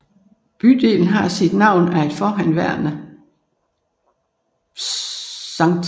Bydelen har sit navn af et forhenværende Skt